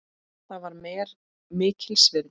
Það var mér mikils virði.